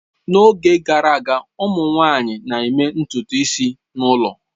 N'oge gara aga, ụmụ nwanyị na-eme ntutu isi n'ụlọ.